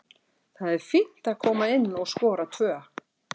Það er fínt að koma inn og skora tvö.